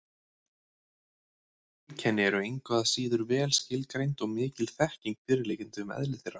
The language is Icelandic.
Flest heilkenni eru engu að síður vel skilgreind og mikil þekking fyrirliggjandi um eðli þeirra.